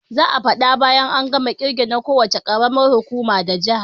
Za'a faɗa bayan an gama kirge na ko wuce karamar hukuma da jaha